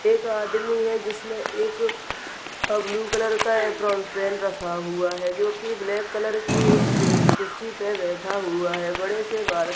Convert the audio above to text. एक आदमी है जिसने एक ब्लू कलर का पहन हुआ है जो की ब्लैक कलर की एक कुरसी पर बैठा हुआ है बड़े से--